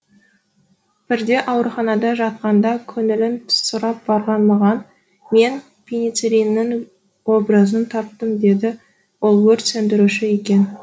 бірде ауруханада жатқанда көңілін сұрап барған маған мен пеницеллиннің образын таптым деді ол өрт сөндіруші екен